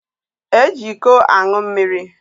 Eji iko ańụ mmiri